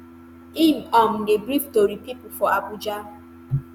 im um dey brief tori pipo for abuja.